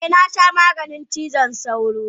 Eh, na sha maganin cizon sauron.